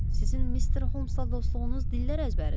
Sizin Mister Holmsla dostluğunuz dillər əzbəridir.